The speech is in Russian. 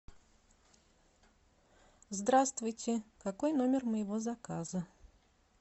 здравствуйте какой номер моего заказа